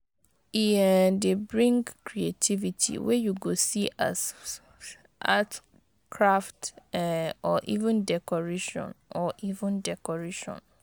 E um dey bring creativity wey yu go see as art, craft um or even decoration or even decoration